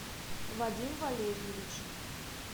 вадим валерьевич